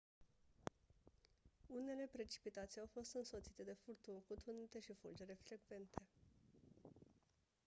unele precipitații au fost însoțite de furtuni cu tunete și fulgere frecvente